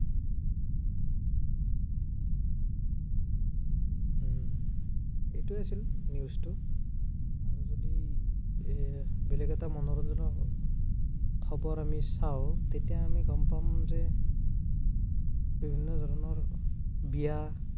এইটোৱে আছিল news টো যদি বেলেগ এটা মনোৰঞ্জনৰ খবৰ আমি চাও, তেতিয়া আমি গম পাম যে, বিভিন্ন ধৰণৰ, বিয়া